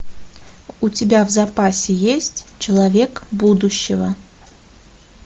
у тебя в запасе есть человек будущего